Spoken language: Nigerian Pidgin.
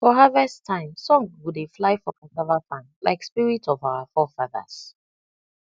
for harvest time song go dey fly for cassava farm like spirit of our forefathers